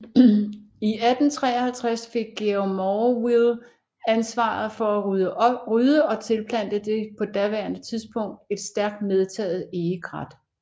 I 1853 fik Georg Morville ansvaret for at rydde og tilplante det på daværende tidspunkt et stærkt medtaget egekrat